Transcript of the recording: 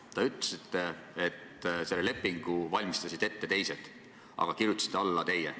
Te ütlesite, et selle lepingu valmistasid ette teised, aga kirjutasite alla teie.